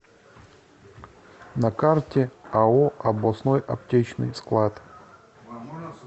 на карте ао областной аптечный склад